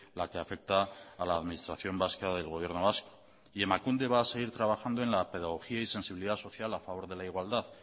la que afecta a la administración vasca del gobierno vasco y emakunde va a seguir trabajando en la pedagogía y sensibilidad social a favor de la igualdad